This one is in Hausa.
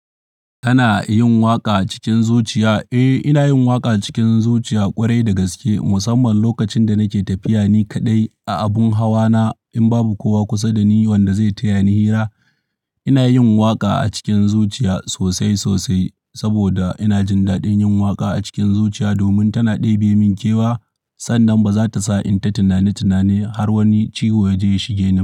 Kana yin waƙa cikin zuciya? Eh, ina yin waƙa cikin zuciya kwarai da gaske, musamman lokacin da nake tafiya ni kaɗai a abun hawana. In babu kowa kusa da ni wanda zai taya ni hira, ina yin waƙa a cikin zuciya sosai sosai saboda ina jin daɗin yin waƙa a cikin zuciya domin tana ɗebe min kewa sannan ba za ta sa in ta tunani tunani har wani ciwo ya je shige ni.